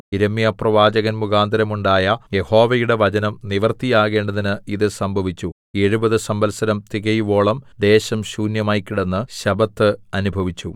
യിരെമ്യാപ്രവാചകൻ മുഖാന്തരം ഉണ്ടായ യഹോവയുടെ വചനം നിവൃത്തിയാകേണ്ടതിന് ഇത് സംഭവിച്ചു എഴുപത് സംവത്സരം തികയുവോളം ദേശം ശൂന്യമായി കിടന്ന് ശബ്ബത്ത് അനുഭവിച്ചു